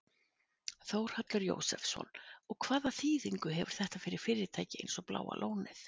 Þórhallur Jósefsson: Og hvaða þýðingu hefur þetta fyrir fyrirtæki eins og Bláa lónið?